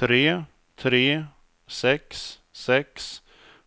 tre tre sex sex